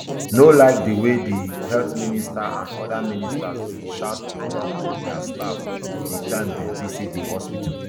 no like di way di health minister and oda ministers bin shout on top dia staff di time dem visit di hospital